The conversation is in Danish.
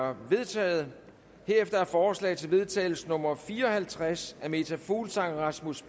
er vedtaget herefter er forslag til vedtagelse nummer v fire og halvtreds af meta fuglsang rasmus